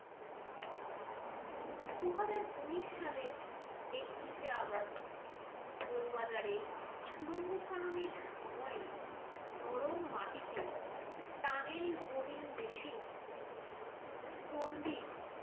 দুহাজার উনিশ সালের একত্রিশে august বউবাজারে সুড়ঙ্গ খননের সময়ে নরম মাটিতে tunnel boring machine চন্ডির